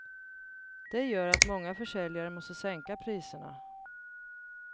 Det gör att många försäljare måste sänka priserna.